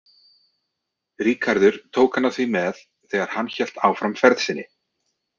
Ríkharður tók hana því með þegar hann hélt áfram ferð sinni.